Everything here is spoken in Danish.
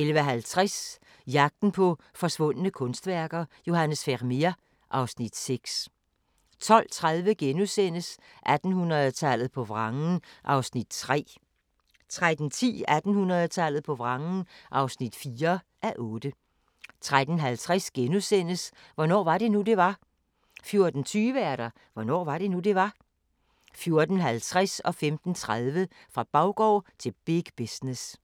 11:50: Jagten på forsvundne kunstværker – Johannes Vermeer (Afs. 6) 12:30: 1800-tallet på vrangen (3:8)* 13:10: 1800-tallet på vrangen (4:8) 13:50: Hvornår var det nu, det var? * 14:20: Hvornår var det nu, det var? 14:50: Fra baggård til big business